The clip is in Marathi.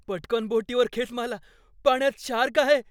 पटकन बोटीवर खेच मला, पाण्यात शार्क आहे.